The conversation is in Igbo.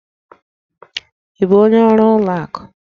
Ị bụ onye ọrụ ụlọ akụ?